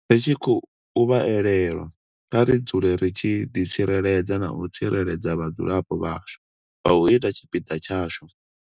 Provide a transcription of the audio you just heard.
Ri tshi khou vha elelwa, kha ri dzule ri tshi ḓitsireledza na u tsireledza vhadzulapo vhashu nga u ita tshipiḓa tshashu.